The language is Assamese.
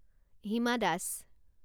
হিমা দাস